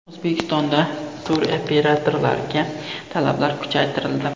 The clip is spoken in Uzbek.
O‘zbekistonda turoperatorlarga talablar kuchaytirildi.